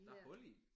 Der er hul i!